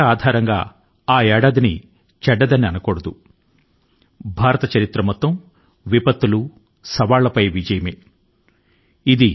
చరిత్ర ఆధారం గా చూస్తే భారతదేశం ఎల్లప్పుడూ ప్రకాశవంతం గా మరియు బలం గా నిలబడింది అన్ని రకాల విపత్తు లు మరియు సవాళ్ళపై విజయాన్ని సాధించింది